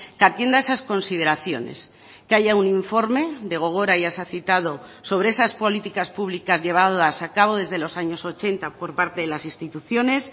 que atienda esas consideraciones que haya un informe de gogora ya se ha citado sobre esas políticas públicas llevadas a cabo desde los años ochenta por parte de las instituciones